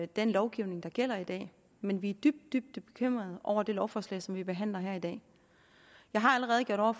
den lovgivning der gælder i dag men vi er dybt dybt bekymret over det lovforslag som vi behandler her i dag jeg har allerede over